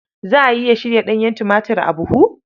Za a iya shirya ɗanyen tumatir a buhu?